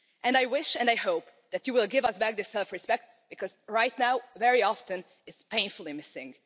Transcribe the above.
I wish and I hope that you will give us back our self respect because right now, very often, it is painfully missing.